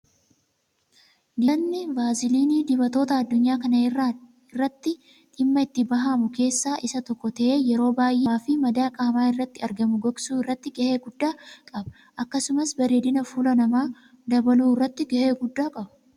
Dibatni vaasiliinii dibatoota Adunyaa kana irratti dhimaa itti bahamu keessaa isa tokko ta'ee yeroo baayyee dibannaa qaama fi madaa qaama irratti argamu gogsuu irratti gahee guddaa qaba. Akkasumas bareedina fuula namaa dabaluu irratti gahee guddaa qaba.